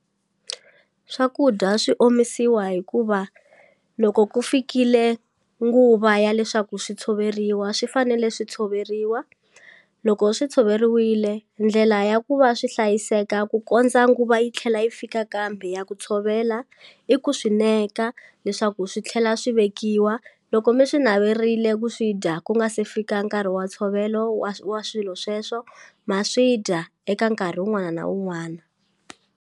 Swakudya swi omisiwa hikuva loko ku fikile nguva ya leswaku swi tshoveriwa swi fanele swi tshoveriwa loko swi tshoveriwile ndlela ya ku va swi hlayiseka ku kondza nguva yi tlhela yi fika kambe ya ku tshovela i ku swi neka leswaku swi tlhela swi vekiwa loko mi swi naverile ku swi dya ku nga se fika nkarhi wa ntshovelo wa swilo sweswo ma swi dya eka nkarhi wun'wana na wun'wana.